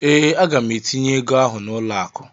ee, Aga m etinye ego ahụ n'ụlọ akụ